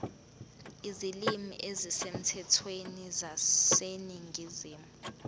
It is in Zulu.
izilimi ezisemthethweni zaseningizimu